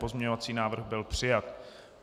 Pozměňovací návrh byl přijat.